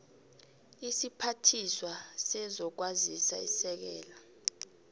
isiphathiswa sezokwazisa isekela